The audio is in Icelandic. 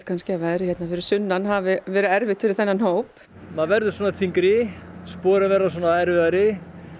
að veðrið hérna fyrir sunnan hafi verið erfitt fyrir þennan hóp maður verður svona þyngri sporin verða erfiðari